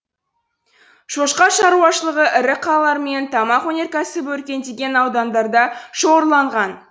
шошқа шаруашылығы ірі қалалар мен тамақ өнеркәсібі өркендеген аудандарда шоғырланған